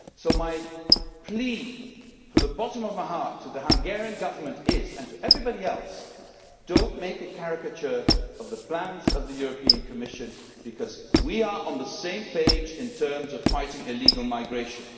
So my plea from the bottom of my heart to the Hungarian Government is, and to everybody else, do not make a caricature of the plans of the European Commission, because we are on the same page in terms of fighting illegal migration.